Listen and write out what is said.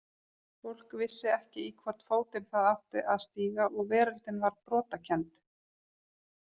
Fólk vissi ekki í hvorn fótinn það átti að stíga og veröldin var brotakennd.